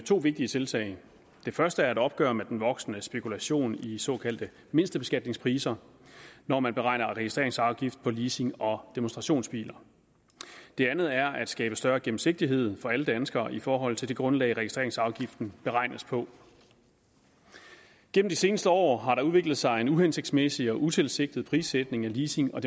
to vigtige tiltag det første er et opgør med den voksende spekulation i såkaldte mindstebeskatningspriser når man beregner registreringsafgift på leasing og demonstrationsbiler det andet er at skabe større gennemsigtighed for alle danskere i forhold til det grundlag registreringsafgiften beregnes på gennem de seneste år har der udviklet sig en uhensigtsmæssig og utilsigtet prissætning af leasing og